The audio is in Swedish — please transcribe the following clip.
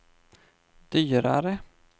dyrare